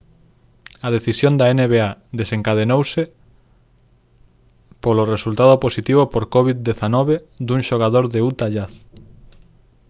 a decisión da nba desencadeouse polo resultado positivo por covid-19 dun xogador do utah jazz